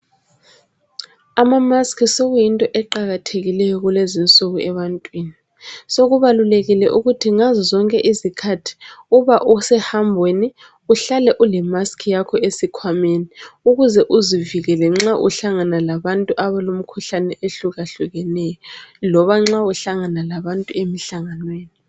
Amamask sokuyinto eqakathekileyo ebantwini sokubalulekile ukuthi ngazozonke izikhathi uba usehambweni. Uhlale ulemask yakho esikhwameni. Ukuze uzivikele nxa uhlangana labantu abalemkhuhlane ehlukahlukeneyo loba nxa uhlangana labantu emhlanganweni.